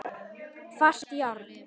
Hvasst járn.